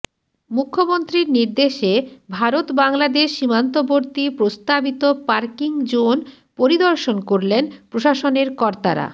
মুখ্যমন্ত্রীর নির্দেশে ভারত বাংলাদেশ সীমান্তবর্তী প্রস্তাবিত পার্কিং জোন পরিদর্শন করলেন প্রশাসনের কর্তারা